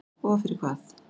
Og fyrir hvað?